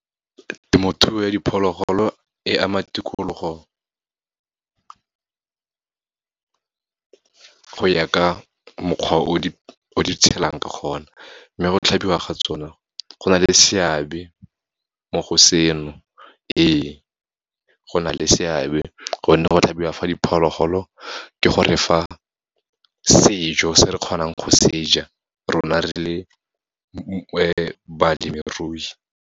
Temothuo ya diphologolo, e ama tikologo go ya ka mokgwa o di tshelang ka gona, mme go tlhabiwa ga tsona go na le seabe, mo go seno. Ee, go na le seabe, gonne go tlhabiwa fa diphologolo ke gore fa sejo se re kgonang go se ja, rona re le balemirui.